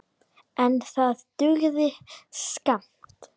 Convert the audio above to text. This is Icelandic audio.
En það dugði skammt.